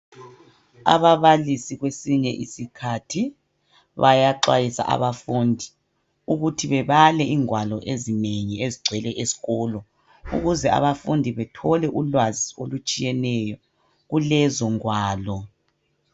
Ababalisi kwesinye isikhathi, bayaxwayisa abafundi ukuthi bebale ingwalo ezinengi ezigcwele esikolo, ukuze abafundi bethole ulwazi olutshiyeneyo kulezongwalo.